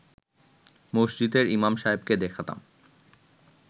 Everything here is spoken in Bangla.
মসজিদের ইমাম সাহেবকে দেখাতাম